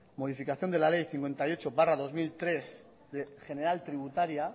modificación de la ley cincuenta y ocho barra dos mil tres general tributaria